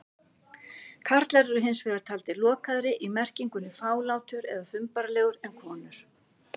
Karlar eru hins vegar taldir lokaðri- í merkingunni fálátur eða þumbaralegur- en konur.